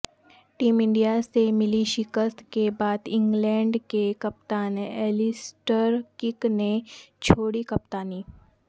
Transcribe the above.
team India سے ملی شکست کے بعد انگلینڈ کے کپتان ایلسٹر کک نے چھوڑی کپتانی